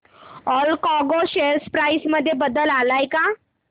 Allcargo share price मध्ये बदल आलाय का